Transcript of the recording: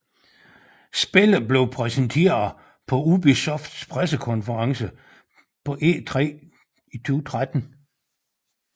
Spillet blev præsenteret på Ubisofts pressekonference på E3 2013